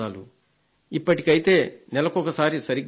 ఇప్పటికైతే నెలకొకసారి సరిగ్గా ఉంది